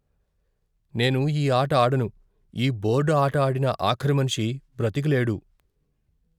నేను ఈ ఆట ఆడను. ఈ బోర్డు ఆట ఆడిన ఆఖరి మనిషి బ్రతికి లేడు.